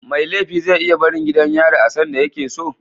Mai laifi ze iya barin gidan yari a sanda yakeso